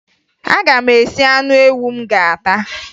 Aga m esi anụ ewu m ga-ata